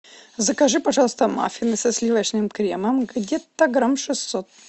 закажи пожалуйста маффины со сливочным кремом где то грамм шестьсот